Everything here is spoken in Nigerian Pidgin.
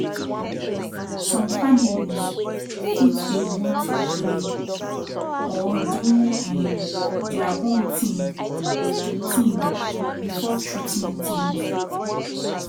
som families fit dey want to pray or do um dia own tin tin before treatment tins